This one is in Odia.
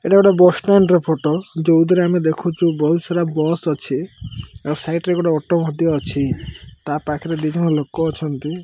ଏଇଟା ଗୋଟେ ବସ ଷ୍ଟାଣ୍ଡ ର ଫୋଟୋ ଯଉଥିରେ ଆମେ ଦେଖୁଚୁ ବହୁତ ସାରା ବସ ଅଛି ଆଉ ସାଇଟ ରେ ଗୋଟେ ଅଟୋ ଟିଏ ଅଛି ତା ପାଖରେ ଦି ଜଣ ଲୋକ ଅଛନ୍ତି।